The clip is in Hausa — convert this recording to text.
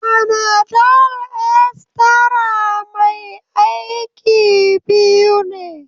Fanadol Extra mai aiki biyu ne.